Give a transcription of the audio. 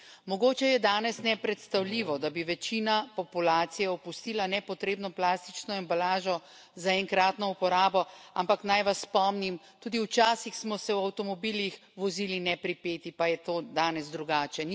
Mogoče je danes nepredstavljivo, da bi večina populacije opustila nepotrebno plastično embalažo za enkratno uporabo, ampak naj vas spomnim, tudi včasih smo se v avtomobilih vozili nepripeti, pa je to danes drugače.